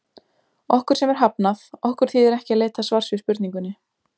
Okkur sem er hafnað, okkur þýðir ekki að leita svars við spurningunni